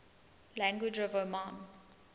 languages of oman